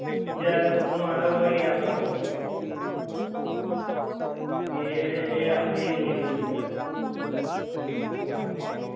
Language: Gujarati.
બીજા કોઈક નો order હોય એ આપણા મા આવી જાય પછી આપણે એ જ લેવા જવું પડે એમાંથી